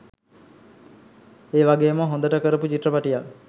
ඒ වගේම හොඳට කරපු චිත්‍රපටයක්.